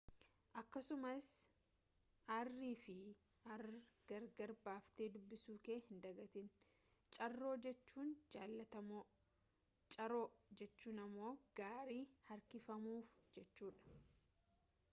akkasumas r fi rr gar gar baaftee duubisu kee hin dagatiin caro jechuun jaalatamaa carro jechuun ammoo gaarii harkifamujechuudha